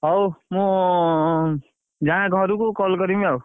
ହଉ ମୁଁ ଉଁ ଯାଏଁ ଘରକୁ call କରିବି ଆଉ।